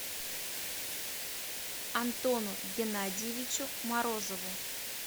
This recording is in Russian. антону геннадьевичу морозову